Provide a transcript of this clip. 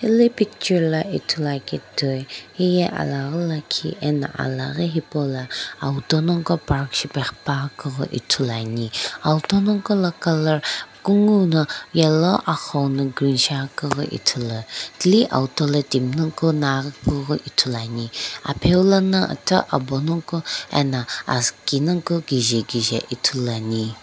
hele picture la ithulu akeu ye heye ala ghi lakhiano alaghi hepou lo auto naguo ko park shipae ghipane auto naguo kolo kungu no yellow ithulu thili auto lo timi gho ghi ane.